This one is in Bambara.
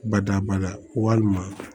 Badabada walima